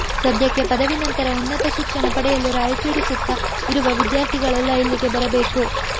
ಸದ್ಯಕ್ಕೆ ಪದವಿ ನಂತರ ಉನ್ನತ ಶಿಕ್ಷಣ ಪಡೆಯಲು ರಾಯಚೂರು ಸುತ್ತ ಇರುವ ವಿದ್ಯಾರ್ಥಿಗಳೆಲ್ಲಾ ಇಲ್ಲಿಗೆ ಬರಬೇಕು